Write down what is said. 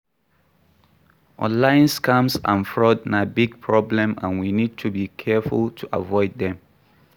Online scams and fraud na big problem and we need to be careful to avoid dem.